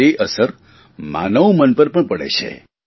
અને તે અસર માનવમન પર પણ પડે છે